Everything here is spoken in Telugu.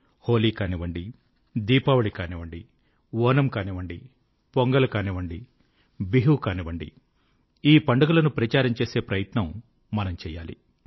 హోలీ కానివ్వండి దీపావళి కానివ్వండి ఓనమ్ కానివ్వండి పొంగల్ కానివ్వండి బిహూ కానివ్వండి ఈ పండుగలను ప్రచారం చేసే ప్రయత్నం మనం చేయాలి